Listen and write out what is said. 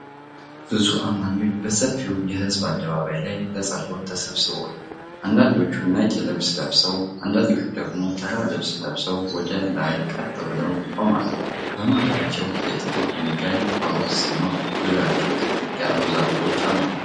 ብዙ አማኞች በሰፊው የህዝብ አደባባይ ላይ ለጸሎት ተሰብስበዋል። አንዳንዶቹ ነጭ ልብስ ለብሰው፣ አንዳንዶቹ ደግሞ ተራ ልብስ ለብሰው ወደ ላይ ቀጥ ብለው ይቆማሉ። በመሃላቸው የጥቁር ድንጋይ ሐውልት ሲኖር፣ ዙሪያቸውም ጥቅጥቅ ያሉ ዛፎች አሉ።